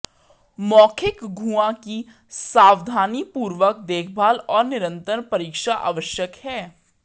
मौखिक गुहा की सावधानीपूर्वक देखभाल और निरंतर परीक्षा आवश्यक है